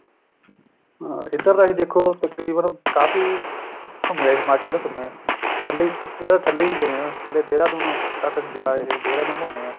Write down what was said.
ਹਾਂ ਇੱਧਰ ਤੱਕ ਦੇਖੋ ਤਕਰੀਬਨ ਕਾਫੀ ਘੁੰਮ ਆਏ ਹਿਮਾਚਲ ਘੁੰਮ ਆਏ ਥੱਲੇ ਦੀ ਥੱਲੇ ਵੀ ਗਏ ਹਾਂ ਥੱਲੇ ਦੇਹਰਾਦੂਨ ਤੱਕ ਜਾ ਆਏ ਦੇਹਰਾਦੂਨ ਘੁੰਮੇ ਹਾਂ